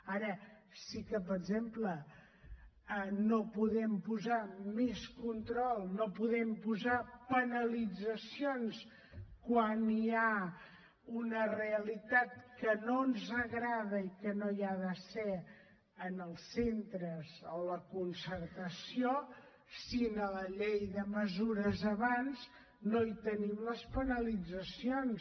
ara sí que per exemple no podem posar més control no podem posar penalitzacions quan hi ha una realitat que no ens agrada i que no hi ha de ser en els centres a la concertació si en la llei de mesures abans no hi tenim les penalitzacions